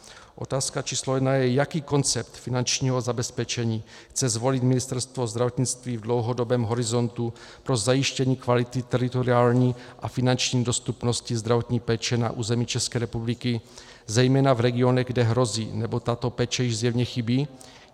Otázka číslo jedna je, jaký koncept finančního zabezpečení chce zvolit Ministerstvo zdravotnictví v dlouhodobém horizontu pro zajištění kvality teritoriální a finanční dostupnosti zdravotní péče na území České republiky, zejména v regionech, kde hrozí, nebo tato péče již zjevně chybí.